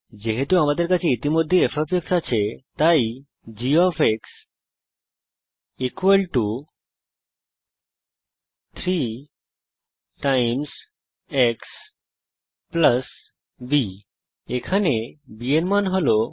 যেহেতু আমাদের কাছে ইতিমধ্যেই fআছে আমি g 3 x b ব্যবহার করব এখানে b এর মান হল 2